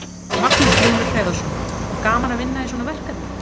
Magnús Hlynur Hreiðarsson: Var gaman að vinna í svona verkefni?